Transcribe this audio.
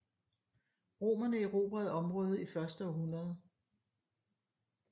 Romerne erobrede området i første århundrede